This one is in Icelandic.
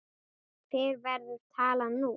Hver verður talan nú?